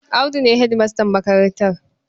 Audu ne hedimastan makarantar.